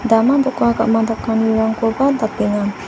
dama doka gam·a dakanirangkoba dakenga.